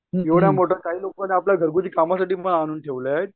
एवढा मोठा काही लोकांनी आपल्या घरगुति कामासाठी पण आणून ठेवलेत